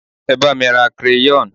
e ba mi ra crayon